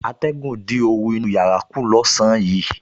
Atẹ̀gùn dín oru inú yàrá kù lọ́sàn-án yìí